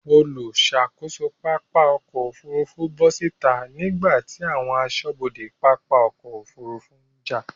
Olùṣàkóso pápá ọkọ̀ Òfurufú bọ́ síta nígbàtí àwọn aṣọ́bodè pápá ọkọ̀ Òfurufú ń jà.